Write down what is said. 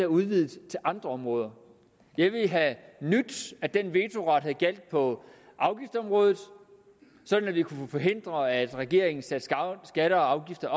udvidet til andre områder jeg ville have nydt at den vetoret havde gjaldt på afgiftsområdet sådan at vi kunne forhindre at regeringen satte skatter og afgifter